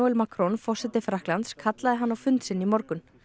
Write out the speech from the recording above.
Macron forseti Frakklands kallaði hann á fund sinn í morgun